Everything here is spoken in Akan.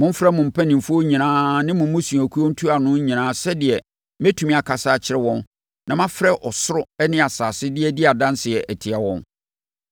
Momfrɛ mo mpanimfoɔ nyinaa ne mo mmusuakuo ntuanofoɔ nyinaa sɛdeɛ mɛtumi akasa akyerɛ wɔn na mafrɛ ɔsoro ne asase de adi adanseɛ atia wɔn.